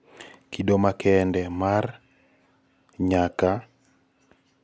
kido makende mara katX56900 2.5 nyaka 3 6.6nyaka 8